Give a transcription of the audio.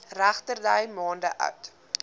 regterdy maande oud